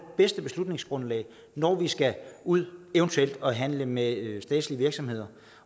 bedste beslutningsgrundlag når vi skal ud og eventuelt handle med statslige virksomheder